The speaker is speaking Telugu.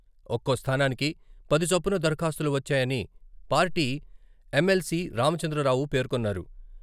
ఒక్కో స్థానానికి పది చొప్పున దరఖాస్తులు వచ్చాయని పార్టీ ఎమ్.ఎల్.సి రామచంద్రరావు పేర్కొన్నారు.